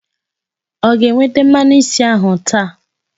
Ọ ga-eweta mmanụ isi ahụ taa?